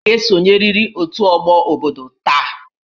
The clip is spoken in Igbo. Ị ga-esonyerịrị otu ọgbọ obodo taa!